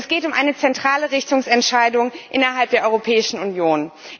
Denn es geht um eine zentrale Richtungsentscheidung innerhalb der Europäischen Union.